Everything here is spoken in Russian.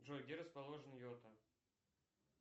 джой где расположен йота